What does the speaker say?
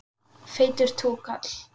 Feitur túkall.